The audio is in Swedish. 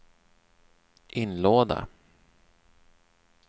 inlåda